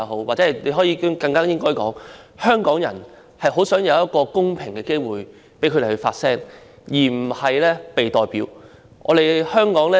或者我更應該說，香港人很想有一個公平機會讓他們自己發聲，而不是"被代表"發聲。